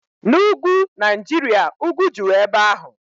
Na Ugwu Naijiria, ugwu juru ebe ahụ.